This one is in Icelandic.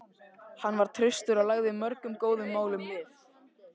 Hann var traustur og lagði mörgum góðum málum lið.